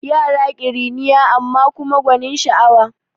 Yara ƙiriniya amma kuma gwanin sa'awa